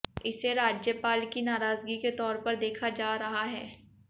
इसे राज्यपाल की नाराजगी के तौर पर देखा जा रहा है